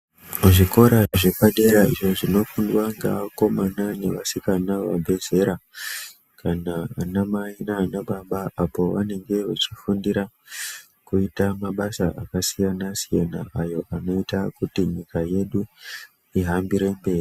Muzvikora zvepadera zviro zvinofundwa nevakomana nevasikana vabva zera kana ana mai nana baba apo pavanenge veifundira kuita mabasa akasiyana-siyana ayo anoita nyika yedu ihambire mberi.